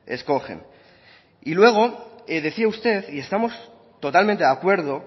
escogen y luego decía usted y estamos totalmente de acuerdo